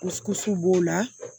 b'o la